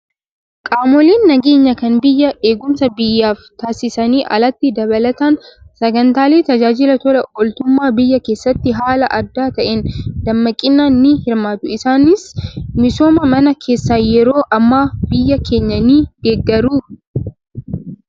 Qaamoleen nageenyaa kan biyyaa eegumsa biyyaaf taasisaniin alatti dabalataan sagantaalee tajaajila tola ooltummaa biyyaa keessatti haala adda ta'een dammaqinaan ni hirmaatu. Isaanis misooma mana keessaa yeroo ammaa biyya keenyaa ni deeggaru.